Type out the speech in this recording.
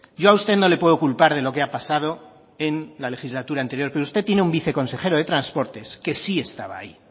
yo a usted no le puedo culpar de lo que ha pasado en la legislatura anterior pero usted tiene un viceconsejero de transportes que sí estaba ahí